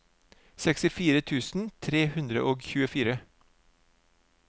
sekstifire tusen tre hundre og tjuefire